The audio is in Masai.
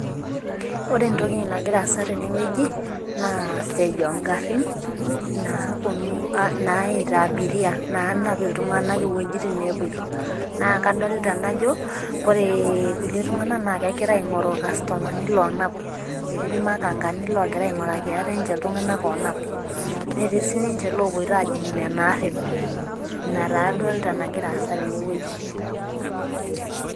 Ore entoki nagira aasa tene wueji naa siai oogarin. naayita abiria. naanap. iltunganak iwuejitin neepoito. naa kadolita najo ore. Kulie tunganak naa kegira aing'oru, ilkastomani, loonap. etii ilmakankani loogira ainguraki ate. ninche iltunganak onap. netii sii ninche iloopoito aajing nena arin. ina taa adolta nagira aasa tene wueji.